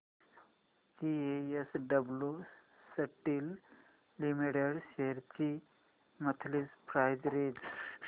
JSW steel limited shares ची monthly price range